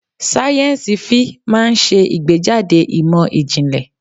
Sáyẹ́nsì-Fí máa ń ṣe ìgbẹ́jáde ìmọ̀ ìjìnlẹ̀.